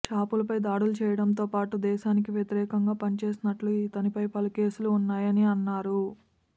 షాపులపై దాడులు చేయడంతో పాటు దేశానికి వ్యతిరేకంగా పనిచేసినట్టు ఇతనిపై పలు కేసులు ఉన్నాయని అన్నారు